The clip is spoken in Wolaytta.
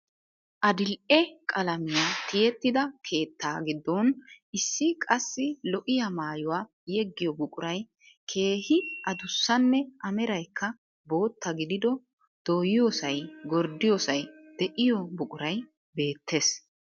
Adidhdhe qalamiyaa tiyettida keettaa giddon issi qassi lo"iyaa maayuwa yeggiyo buquray keehi adussanne A meraykka bootta gidido doyiyosay gorddiyoosay de"iyoo buquray beettees.